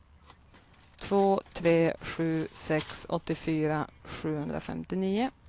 två tre sju sex åttiofyra sjuhundrafemtionio